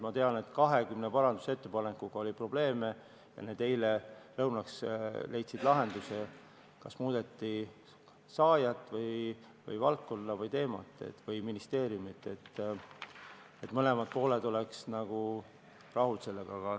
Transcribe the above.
Ma tean, et 20 parandusettepanekuga oli probleeme, need leidsid eile lõunaks lahenduse, kas muudeti saajat, valdkonda, teemat või ministeeriumi, et mõlemad pooled oleks sellega rahul.